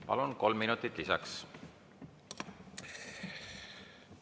Palun, kolm minutit lisaks!